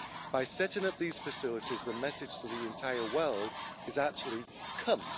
By setting up these facilities, the message to the entire world is actually come.